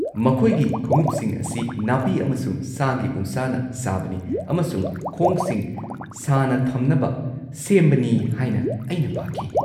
ꯃꯈꯣꯏꯒꯤ ꯈꯣꯡꯎꯞꯁꯤꯡ ꯑꯁꯤ ꯅꯥꯄꯤ ꯑꯃꯁꯨꯡ ꯁꯥꯒꯤ ꯎꯟꯁꯥꯅ ꯁꯥꯕꯅꯤ ꯑꯃꯁꯨꯡ ꯈꯣꯡꯁꯤꯡ ꯁꯥꯅ ꯊꯝꯅꯕ ꯁꯦꯝꯕꯅꯤ ꯍꯥꯏꯅ ꯑꯩꯅ ꯄꯥꯈꯤ꯫